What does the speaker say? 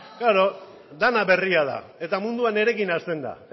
bai bai dena berria da eta mundua nirekin hasten da